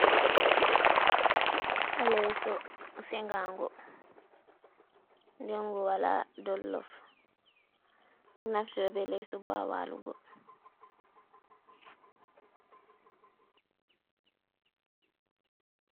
Leeso sengaango, nden ngo walaa dollof, naftira bee leeso boo haa waalugo.